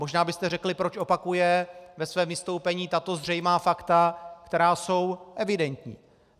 Možná byste řekli, proč opakuje ve svém vystoupení tato zřejmá fakta, která jsou evidentní.